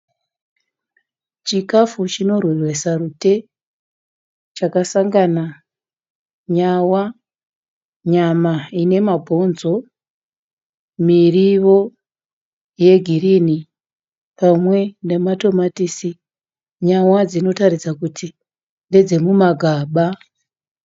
Chikafu chirweresa rutema. Chakasangana nyawa, nyama inemabhonzo, miriwo yegirinhi pamwe nematomatisi. Nyawa dzinoratidza kuti ndedzemumagaba.